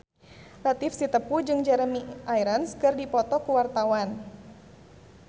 Latief Sitepu jeung Jeremy Irons keur dipoto ku wartawan